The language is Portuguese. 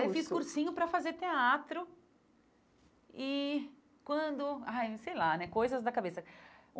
o curso Aí fiz cursinho para fazer teatro e quando... Ai Sei lá né, coisas da cabeça.